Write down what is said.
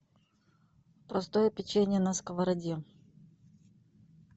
просто печенье на сковороде